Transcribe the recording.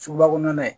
Suguba kɔnɔna ye